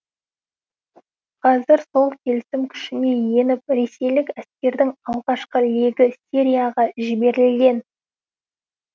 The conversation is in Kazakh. қазір сол келісім күшіне еніп ресейлік әскердің алғашқы легі сирияға жіберілген